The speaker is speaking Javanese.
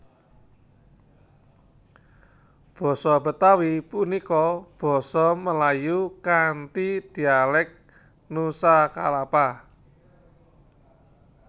Basa Betawi punika basa Melayu kanthi dialék Nusa Kalapa